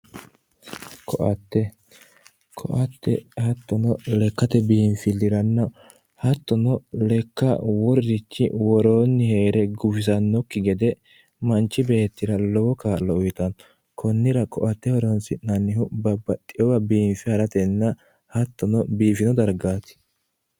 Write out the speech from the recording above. Koatte, koatte hattono lekkate biinfiliranna hattono lekka wolurichi worooni heere gufisanokki gede manchi beettira lowo kaa'lo uyittano konnira koatte horonsi'nannihu babbaxewa biife ha'ratenna hattono biifewati.